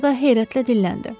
Sonra da heyrətlə dilləndi.